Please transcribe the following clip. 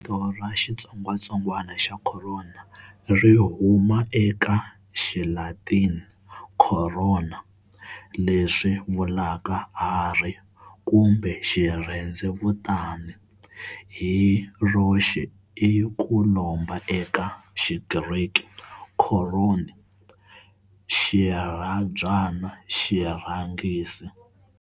Vito ra xitsongatsongwana xa khorona ri huma eka Xilatini corona, leswi vulaka harhi kumbe xirhendzevutani, hi roxe i ku lomba eka Xigriki korṓnē, xirhabyana, xirhangiso.